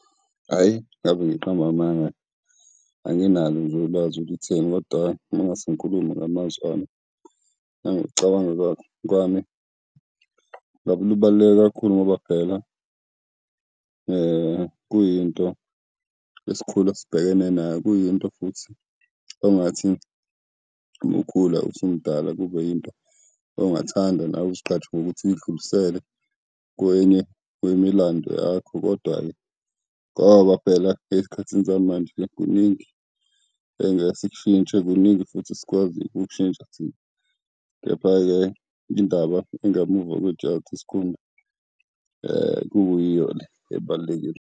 Hhayi, ngabe ngiqamba amanga, anginalo nje ulwazi olutheni kodwa uma ngingase ngikhulume ngamazwi ami, nangokucabanga kwami. Ngabe lubaluleke kakhulu ngoba phela kuyinto esikhula sibhekene nayo, kuyinto futhi ongathi uma ukhula usumdala, kube yinto ongathanda nawe uzigqaje ngokuthi uyidlulisele kwenye kwemilando yakho. Kodwa-ke ngoba phela esikhathini samanje kuningi engekesikushintshe, kuningi futhi esikwaziyo ukukushintsha thina. Kepha-ke indaba engemuva kwejazi kuyiyo le ebalulekile.